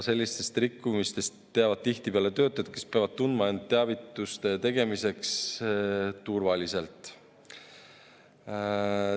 Sellistest rikkumistest teavad tihtipeale töötajad, kes peavad tundma end teavituste tegemiseks turvaliselt.